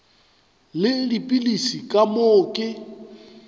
le dipilisi ka moo ke